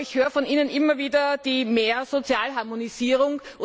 Aber ich höre von Ihnen immer wieder mehr Sozialharmonisierung.